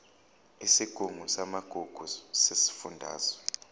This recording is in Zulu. isigungu samagugu sesifundazwe